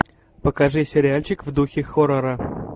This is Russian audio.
покажи сериальчик в духе хоррора